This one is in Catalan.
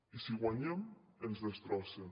i si guanyem ens destrossen